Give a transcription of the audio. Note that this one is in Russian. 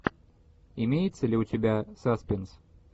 имеется ли у тебя саспенс